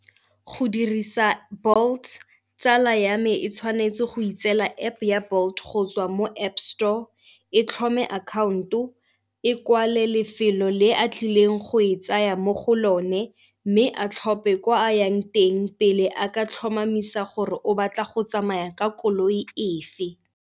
Go dirisa Bolt, tsala ya me e tshwanetse go itseela App-e ya Bolt go tswa mo App store, e tlhophe account-o, e kwalel lefelo le a tlileng go e tsaya mo go lone mme a tlhophe kwa a yang teng pele a ka tlhomamisa gore o batla go tsamaya ka koloi efe.